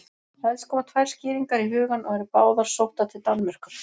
Helst koma tvær skýringar í hugann og eru báðar sóttar til Danmerkur.